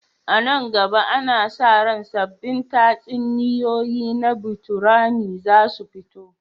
A nan gaba, ana sa ran sabbin tatsuniyoyi na botorami za su fito.